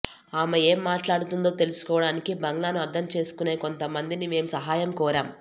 ఆమె ఏం మాట్లాడుతుందో తెలుసుకోవడానికి బంగ్లాను అర్థంచేసుకునే కొంత మందిని మేం సహాయం కోరాం